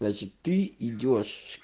значит ты идёшь